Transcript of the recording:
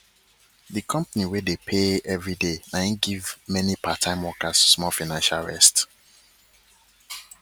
d company wey dey pay everiday na e give mani part time workers small financial rest